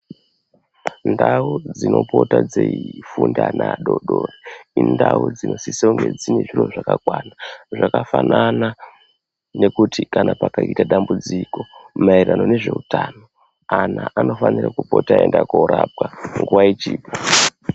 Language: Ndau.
Ndau dzinopota dzeifunda ana adodori, indau dzinosisa kunge dzine zviro zvakakwana zvakafanana nekuti kana pakaitika dambudziko maererano nezveutano ana anofanira kupota eienda korapwa nguwa ichipo.